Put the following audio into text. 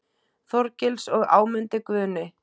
Þorgils og Ámundi Guðni.